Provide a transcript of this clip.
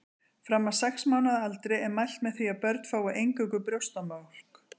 Fram að sex mánaða aldri er mælt með því að börn fái eingöngu brjóstamjólk.